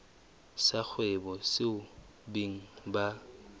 sa kgwebo seo beng ba